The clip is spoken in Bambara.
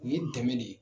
U ye dɛmɛ de ye